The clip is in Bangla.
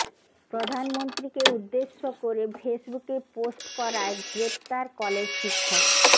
প্রধানমন্ত্রীকে উদ্দেশ্য করে ফেসবুকে পোষ্ট করায় গ্রেফতার কলেজ শিক্ষক